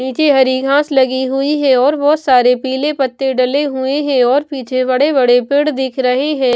नीचे हरी घास लगी हुई है और बहुत सारे पीले पत्ते डले हुए हैं और पीछे बड़े-बड़े पेड़ दिख रहे हैं।